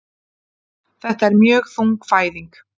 Þetta er mjög þung fæðing